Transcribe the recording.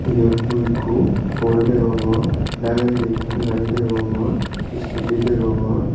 eyot mui ekko pour degongor dagendi ekkan gari degongor iscoty degongor.